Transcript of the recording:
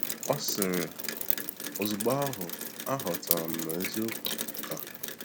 Ọ sịrị: “Ozugbo ahụ, aghọtara m na eziokwu bụ nke a.”